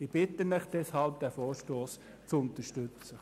Ich bitte Sie deshalb, diesen Vorstoss zu unterstützen.